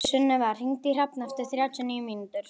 Sunneva, hringdu í Hrafn eftir þrjátíu og níu mínútur.